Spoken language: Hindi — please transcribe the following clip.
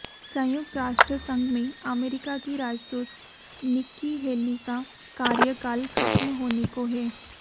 संयुक्त राष्ट्र संघ में अमेरिका की राजदूत निक्की हेली का कार्यकाल खत्म होने को है